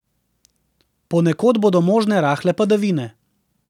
Ponekod bodo možne rahle padavine.